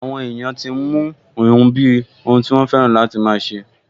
Àwọn èèyàn tí n mú híhun bíi ohun tí wọ́n fẹ́ràn láti máa ṣe